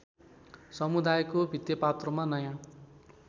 समुदायको भित्तेपात्रोमा नयाँ